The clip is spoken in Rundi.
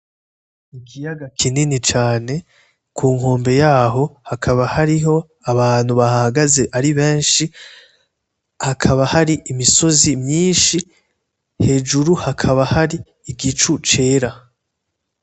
Ikiyaga kinini cane, kunkombe yaho hakaba hariho abantu bahahagaze ari benshi, hakaba hari imisozi myinshi, hejuru hakaba hari igicu cera.